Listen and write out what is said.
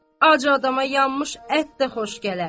Ac adama yanmış ət də xoş gələr.